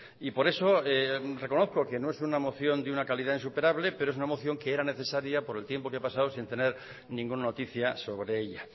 y por eso reconozco que no es una moción de una calidad insuperable pero es una moción que era necesaria por el tiempo que ha pasado sin tener ninguna noticia sobre ella